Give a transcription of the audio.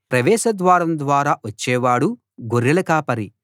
ప్రవేశ ద్వారం ద్వారా వచ్చేవాడు గొర్రెల కాపరి